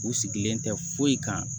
U sigilen tɛ foyi kan